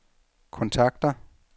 kontakter